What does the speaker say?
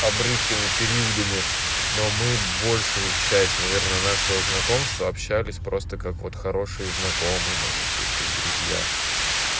обрывками периодами но мы большую часть наверное нашего знакомства общались просто как вот хорошие знакомые можно сказать как друзья